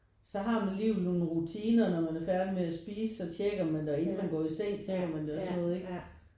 Så har man alligevel nogle rutiner når man er færdig med at spise så tjekker man det og inden man går i seng tjekker man det og sådan noget ikke